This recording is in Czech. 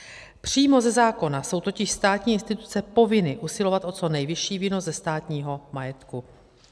Přímo ze zákona jsou totiž státní instituce povinny usilovat o co nejvyšší výnos ze státního majetku.